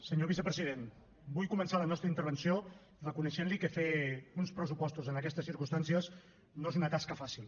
senyor vicepresident vull començar la nostra intervenció reconeixent li que fer uns pressupostos en aquestes circumstàncies no és una tasca fàcil